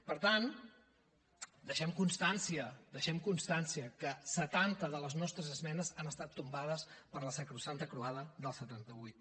per tant deixem constància deixem constància que setanta de les nostres esmenes han estat tombades per la sacrosanta croada del setanta vuit